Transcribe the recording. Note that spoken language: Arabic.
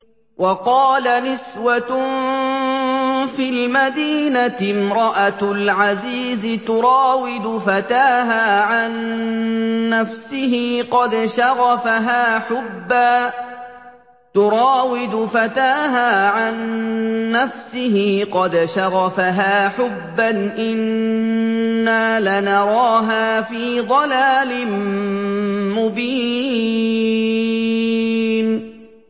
۞ وَقَالَ نِسْوَةٌ فِي الْمَدِينَةِ امْرَأَتُ الْعَزِيزِ تُرَاوِدُ فَتَاهَا عَن نَّفْسِهِ ۖ قَدْ شَغَفَهَا حُبًّا ۖ إِنَّا لَنَرَاهَا فِي ضَلَالٍ مُّبِينٍ